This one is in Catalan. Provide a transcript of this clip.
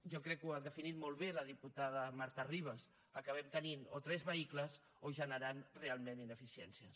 jo crec que ho ha definit molt bé la diputada marta ribas acabem tenint o tres vehicles o generant realment ineficiències